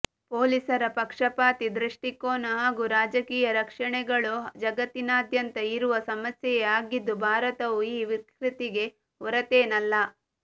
ಪೊಲೀಸರ ಪಕ್ಷಪಾತಿ ದೃಷ್ಟಿಕೋನ ಹಾಗೂ ರಾಜಕೀಯ ರಕ್ಷಣೆಗಳು ಜಗತ್ತಿನಾದ್ಯಂತ ಇರುವ ಸಮಸ್ಯೆಯೇ ಆಗಿದ್ದು ಭಾರತವೂ ಈ ವಿಕೃತಿಗೆ ಹೊರತೇನಲ್ಲ